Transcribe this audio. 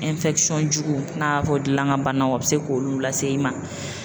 jugu n'a fɔ dilankanbanaw o be se k'olu lase i ma